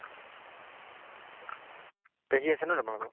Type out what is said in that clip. পেহী আছে ন তোমালোকৰ?